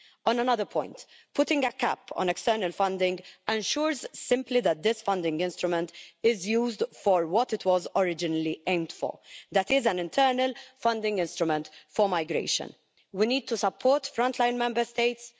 On another point, putting a cap on external funding simply ensures that this funding instrument is used for what it was originally aimed for, that is, an internal funding instrument for migration. We need to support frontline Member States.